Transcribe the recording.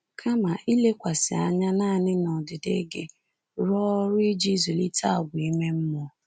Kama ilekwasị anya nanị n’ọdịdị gị, rụọ ọrụ iji zụlite àgwà ime mmụọ.